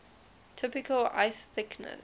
typical ice thickness